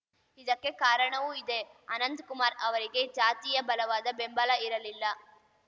ಇದಕ್ಕೆ ಕಾರಣವೂ ಇದೆ ಅನಂತಕುಮಾರ್ ಅವರಿಗೆ ಜಾತಿಯ ಬಲವಾದ ಬೆಂಬಲ ಇರಲಿಲ್ಲ